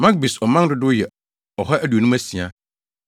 Magbis ɔman dodow yɛ 2 156 1